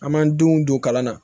An m'an denw don kalan na